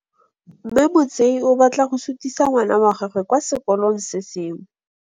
Mme Motsei o batla go sutisa ngwana wa gagwe kwa sekolong se sengwe.